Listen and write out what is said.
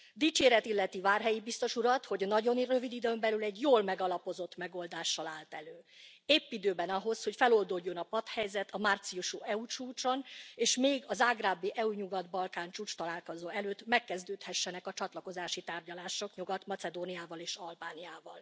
Dicséret illeti Várhelyi biztos urat, hogy nagyon rövid időn belül egy jól megalapozott megoldással állt elő, épp időben ahhoz, hogy feloldódjon a patthelyzet a márciusi EU csúcson, és még a zágrábi EU Nyugat Balkán csúcstalálkozó előtt megkezdődhessenek a csatlakozási tárgyalások Nyugat Macedóniával és Albániával.